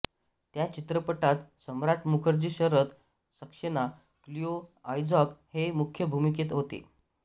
त्या चित्रपटात Samrat Mukherjee Sharat Saxena Cleo Isaacs हे मुख्य भूमिकेत होते